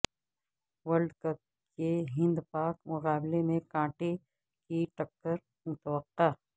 world cup کے ہندپاک مقابلے میں کانٹے کی ٹکر متوقع